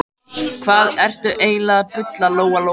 Hvað ertu eiginlega að bulla, Lóa-Lóa?